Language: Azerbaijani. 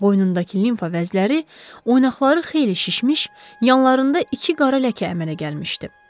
Boynundakı limfa vəzləri, oynaqlara xeyli şişmiş, yanlarında iki qara ləkə əmələ gəlmişdi.